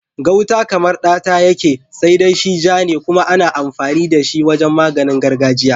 Gauta kamar ɗata yake, sai dai shi ja ne kuma ana amfani da shi wajen maganin gargajiya.